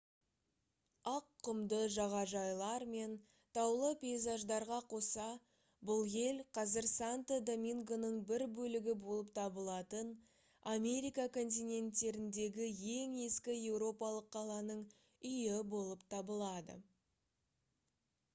ақ құмды жағажайлар мен таулы пейзаждарға қоса бұл ел қазір санто домингоның бір бөлігі болып табылатын америка континенттеріндегі ең ескі еуропалық қаланың үйі болып табылады